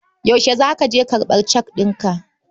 Yaushe za ka je karɓar cek ɗinka?